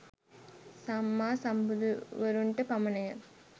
සම්මා සම්බුදුවරුන්ට පමණ ය.